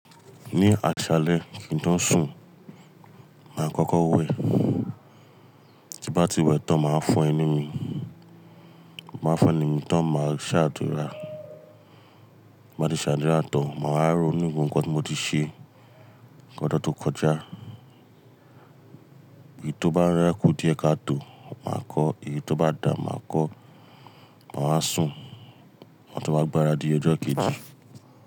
Ní aṣalẹ kí n tó sùn, màá kọ́kọ́ wẹ, tí n bá ti wẹ tán màá fọ ẹnu mi. Màá fọ́ ẹnu mi tán màá ṣàdúrà. Bí mo bá ti ṣàdúrà tán, màá wa róonu gbogbo ǹkan tí mo ti ṣe kojó tó kọjá. Eyí tó bá ń rákò di ẹ ká tó màá kọ́, èyí tó bá dà màá kọ́. Bí mo bá ti ṣàdúrà tán, màá wa rónu gbogbo ǹkan tí mo ti ṣe ọdún tó kọjá.